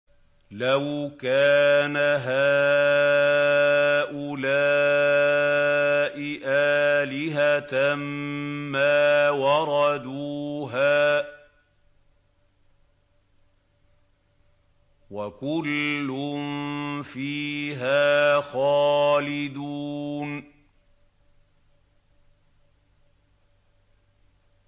لَوْ كَانَ هَٰؤُلَاءِ آلِهَةً مَّا وَرَدُوهَا ۖ وَكُلٌّ فِيهَا خَالِدُونَ